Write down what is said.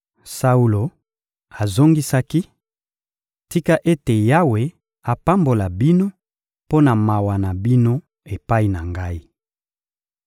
Saulo azongisaki: — Tika ete Yawe apambola bino mpo na mawa na bino epai na ngai!